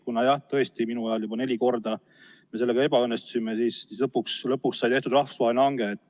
Kuna jah, tõesti, minu ajal me neli korda sellega ebaõnnestusime ja siis lõpuks sai tehtud rahvusvaheline hange.